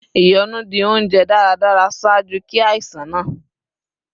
Ìyọnu di ounjẹ daradara ṣaaju ki aisan naa